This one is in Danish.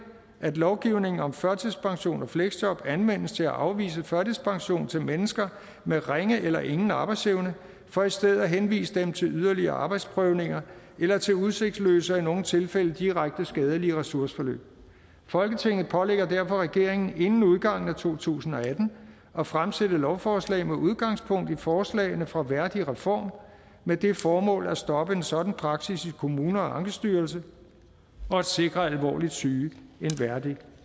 at lovgivningen om førtidspension og fleksjob anvendes til at afvise førtidspension til mennesker med ringe eller ingen arbejdsevne for i stedet at henvise dem til yderligere arbejdsprøvninger eller til udsigtsløse og i nogle tilfælde direkte skadelige ressourceforløb folketinget pålægger derfor regeringen inden udgangen af to tusind og atten at fremsætte lovforslag med udgangspunkt i forslagene fra værdigreform med det formål at stoppe en sådan praksis i kommuner og ankestyrelsen og at sikre alvorligt syge en værdig